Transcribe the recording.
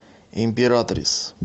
императрис